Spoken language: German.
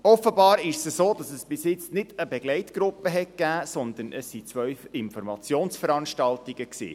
Offenbar ist es so, dass es bis jetzt nicht eine Begleitgruppe gab, sondern es fanden zwei Informationsveranstaltungen statt.